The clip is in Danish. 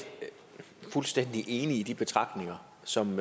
fuldstændig enig i de betragtninger som